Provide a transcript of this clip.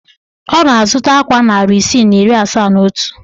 Ọ na-azụta akwa narị isii na iri asaa na otu